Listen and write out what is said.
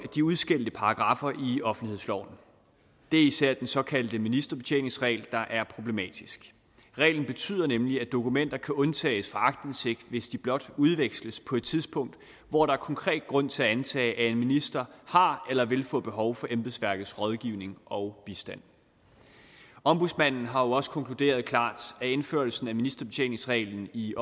de udskældte paragraffer i offentlighedsloven det er især den såkaldte ministerbetjeningsregel der er problematisk reglen betyder nemlig at dokumenter kan undtages fra aktindsigt hvis de blot udveksles på et tidspunkt hvor der er konkret grund til at antage at en minister har eller vil få behov for embedsværkets rådgivning og bistand ombudsmanden har jo også konkluderet klart at indførelsen af ministerbetjeningsreglen i